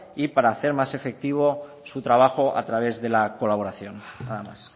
y para hacer más efectivo su trabajo a través de la colaboración nada más